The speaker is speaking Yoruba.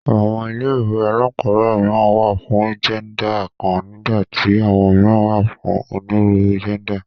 Àwọn ilé ìwé alákọ̀ọ́bẹ̀rẹ̀ mìíràn wà fún jẹ́ndà kan nígbà tí àwọn mìíràn wà fún onírúurú jẹ́ndà.